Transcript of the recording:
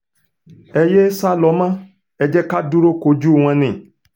ẹ yéé sá lọ mọ́ ẹ jẹ́ ká dúró kojú wọn ni